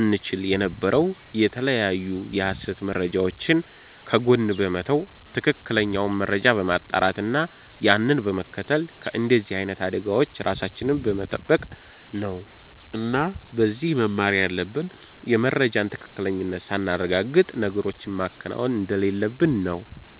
እንቺል የነበረው የተለያዩ የሀሰት መረጃወችን ከጎን በመተው ትክክለኛውን መረጃ በማጣራት እና ያንን በመከተል ከንደዚህ አይነት አደጋወች ራሳችንን በመተበቅ ነው እና ከዚህ መማር ያለብን የመረጃን ትክክለኝነት ሳናረጋግጥ ነገሮችን ማከናወን እንደሌለብን ነው